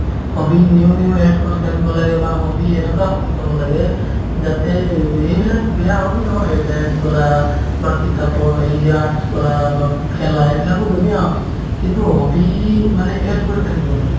hobby new new add কৰি থাকিব লাগে বা hobby এনেকুৱা hobbies ত হ'ব লাগে যাতে এইব~ এইবিলাক বেয়া hobby নহয় dance কৰা বা কিতাপৰ সেই যে art কৰা বা ফু খেলা সেইবিলাকো ধুনীয়া hobby কিন্তু hobby মানে add কৰি থাকিব লাগে